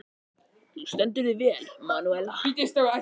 Þú stendur þig vel, Manúella!